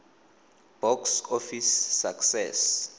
box office success